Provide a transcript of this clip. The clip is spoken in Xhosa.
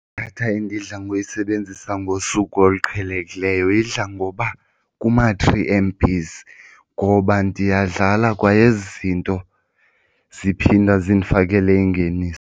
Idatha endidla ngoyisebenzisa ngosuku oluqhelekileyo idla ngoba kuma-three M_Bs ngoba ndiyadlala kwa ezi zinto ziphinda zindifakele ingeniso.